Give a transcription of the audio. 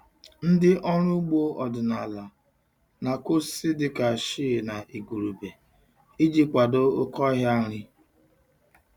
Ndị ọrụ ugbo ọdịnala na-akụ osisi dịka shea na igurube iji kwado oke ọhịa nri.